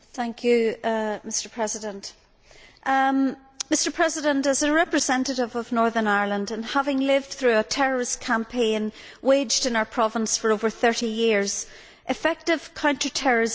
Mr President, as a representative of Northern Ireland, and having lived through a terrorist campaign waged in our Province for over thirty years, effective counter terrorism strategy remains a priority in my constituency.